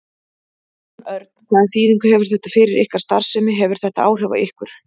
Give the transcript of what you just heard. Jón Örn: Hvaða þýðingu hefur þetta fyrir ykkar starfsemi, hefur þetta áhrif á ykkur?